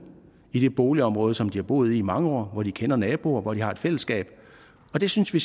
i det boligområde som de har boet i i mange år hvor de kender naboer og hvor de har et fællesskab og det synes vi